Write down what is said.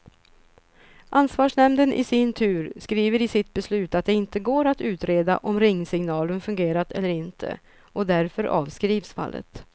Ansvarsnämnden i sin tur skriver i sitt beslut att det inte går att utreda om ringsignalen fungerat eller inte, och därför avskrivs fallet.